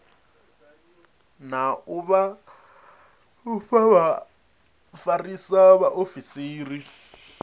na u vha vhafarisa vhaofisiri